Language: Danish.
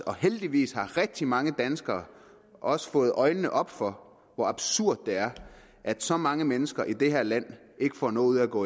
og heldigvis har rigtig mange danskere også fået øjnene op for hvor absurd det er at så mange mennesker i det her land ikke får noget ud af at gå